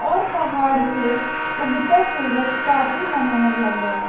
और पहाड़ से उगता सूरज काफी मनोहर लग रहा है।